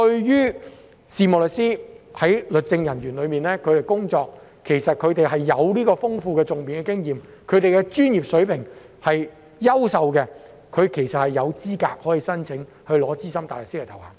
任職律政人員的事務律師其實具有豐富的訟辯經驗，專業水平優秀，其實他們有資格申請獲取資深大律師的頭銜。